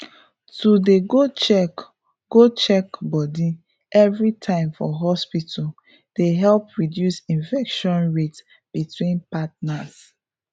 to dey go check go check body everytime for hospital dey help reduce infection rate between partners